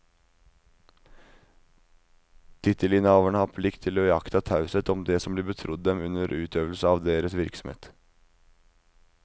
Tittelinnehavere har plikt til å iaktta taushet om det som blir betrodd dem under utøvelse av deres virksomhet.